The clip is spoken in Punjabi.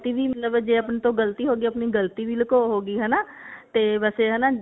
ਗਲਤੀ ਵੀ ਮਤਲਬ ਜੇ ਆਪਣੇ ਤੋਂ ਗਲਤੀ ਹੋਗੀ ਆਪਣੀ ਗਲਤੀ ਵੀ ਲਕੋ ਹੋਗੀ ਹਨਾ ਤੇ ਵੈਸੇ ਹਨਾ